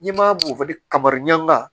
N'i ma kabaranga